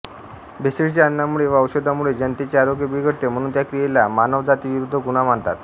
भेसळीच्या अन्नामुळे व औषधामुळे जनतेचे आरोग्य बिघडते म्हणून त्या क्रियोला मानवजातीविरुद्ध गुन्हा मानतात